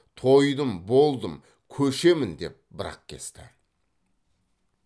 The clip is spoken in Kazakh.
тойдым болдым көшемін деп бір ақ кесті